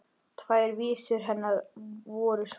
Tvær vísur hennar voru svona: